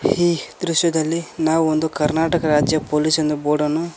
ಈ ದೃಶ್ಯದಲ್ಲಿ ನಾವು ಒಂದು ಕರ್ನಾಟಕ ರಾಜ್ಯ ಪೊಲೀಸ್ ಎಂದು ಬೋರ್ಡ್ ಅನ್ನು--